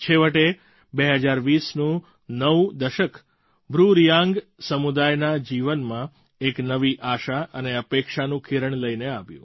છેવટે 2020નું નવું દશક બ્રૂરિયાંગ સમુદાયના જીવનમાં એક નવી આશા અને અપેક્ષાનું કિરણ લઈને આવ્યું